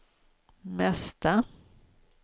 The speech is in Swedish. mesta